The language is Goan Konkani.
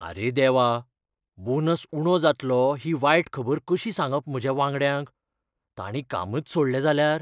आरे देवा! बोनस उणो जातलो ही वायट खबर कशीं सांगप म्हज्या वांगड्यांक? तांणी कामच सोडलें जाल्यार?